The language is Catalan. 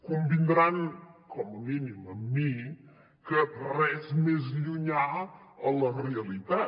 convindran com a mínim amb mi que res més llunyà a la realitat